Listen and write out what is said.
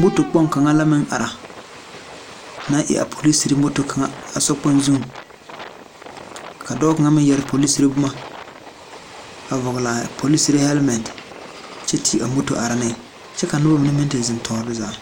moto kpoŋ kaŋa la meŋ ara na eɛɛ poroserre moto kaŋa a sokpoŋ zu ka dɔɔ kaŋa meŋ yɛre poliserre bomma a vɔglaa poliserre hɛlmɛn kyɛ te a moto are neŋ kyɛ ka nobɔ mine meŋ te zeŋ toore zaa.